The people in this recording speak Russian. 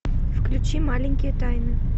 включи маленькие тайны